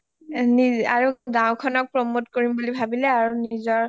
আৰু গাওঁ খনক promote কৰিম বুলি ভাবিলে আৰু নিজৰ